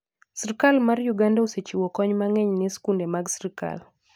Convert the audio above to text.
Sirkal mar Uganda osechiwo kony mang'eny ne skunde mag sirkal.